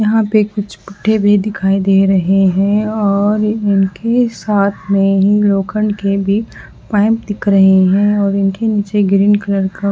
यहाँ पे कुछ कुठए भी दिखाई दे रहे है और इनके साथ में ही लोहखंड के भी पाइप दिख रहे है और इनके नीचे ग्रीन कलर का --